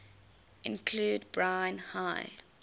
include brine high